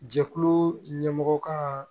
Jɛkulu ɲɛmɔgɔ ka